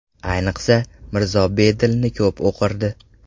Ayniqsa, Mirzo Bedilni ko‘p o‘qirdi.